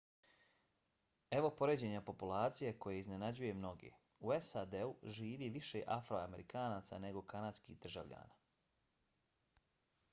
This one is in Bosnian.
evo poređenja populacije koje iznenađuje mnoge: u sad živi više afroamerikanaca nego kanadskih državljana